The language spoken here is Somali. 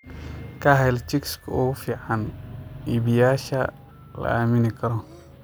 Ka hel chicks ugu fiican iibiyeyaasha la aamini karo.